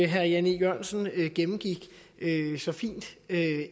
herre jan e jørgensen gennemgik så fint